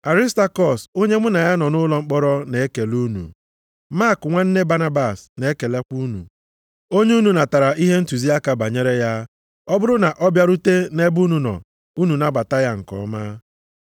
Arịstakọs, onye mụ na ya nọ nʼụlọ mkpọrọ, na-ekele unu. Mak nwanne Banabas na-ekelekwa unu. (Onye unu natara ihe ntụziaka banyere ya, ọ bụrụ na ọ bịarute nʼebe unu nọ, unu nabata ya nke ọma.)